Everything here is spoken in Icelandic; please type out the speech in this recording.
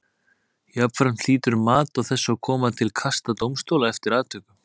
Jafnframt hlýtur mat á þessu að koma til kasta dómstóla eftir atvikum.